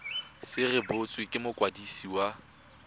se rebotswe ke mokwadisi wa